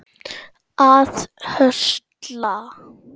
að höstla